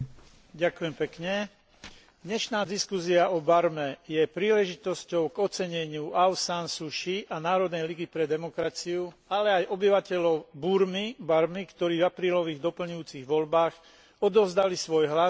Dnešná diskusia o Barme je príležitosťou k oceneniu Aung San Suu Kyi a Národnej ligy pre demokraciu, ale aj obyvateľov Barmy, ktorí v aprílových doplňujúcich voľbách odovzdali svoj hlas kandidátom NLD.